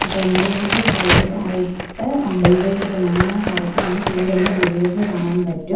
ടെമ്പോകളുടെ സൈഡിലായിട്ട് ഡെവൈഡർ മഞ്ഞ കറുപ്പ് എന്നീ പെയിൻ്റടിച്ച ഡിവൈഡർ കാണാൻ പറ്റും.